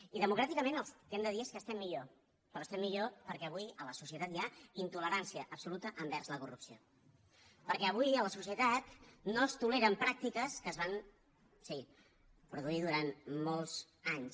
i democràticament el que hem de dir és que estem millor però estem millor perquè avui a la societat hi ha intolerància absoluta envers la corrupció perquè avui a la societat no es toleren pràctiques que es van sí produir durant molts anys